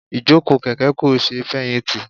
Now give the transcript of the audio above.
Ìjókòó kèké kò sé feyinti.